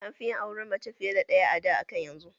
An fi yin auren mace fiya da ɗaya a da akan yanzu